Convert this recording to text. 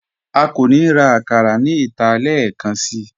À kò ní rá àkàrà ní ìtà lẹẹkànṣí